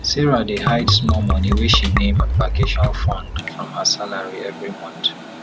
sarah dey hide small money wey she name vacation fund from her salary every month